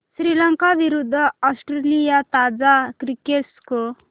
श्रीलंका विरूद्ध ऑस्ट्रेलिया ताजा cricket score